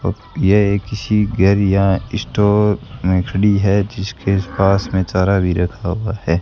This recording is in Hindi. यह किसी घर या स्टोर में खड़ी है जिसके पास में चारा भी रखा हुआ है।